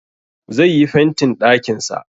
Zai yi fentin ɗakin sa